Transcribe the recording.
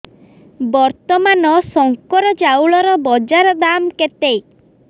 ବର୍ତ୍ତମାନ ଶଙ୍କର ଚାଉଳର ବଜାର ଦାମ୍ କେତେ